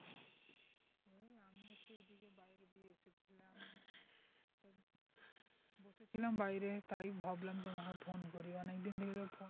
এলাম বাইরে তাই ভাবলাম তোমাকে phone করি অনেকদিন থেকে